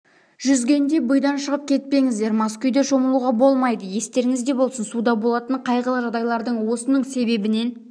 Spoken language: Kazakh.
жүзгенде буйдан шығып кетпеңіздер мас күйде шомылуға болмайды естеріңізде болсын суда болатын қайғылы жағдайлардың осының себебінен